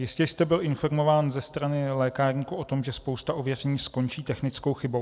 Jistě jste byl informován ze strany lékárníků o tom, že spousta ověření skončí technickou chybou.